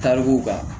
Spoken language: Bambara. Tarikuw kan